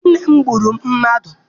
Di nne m gburu mmadụ.